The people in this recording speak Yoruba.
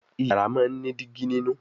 Iyàrá món ní Dígí nínú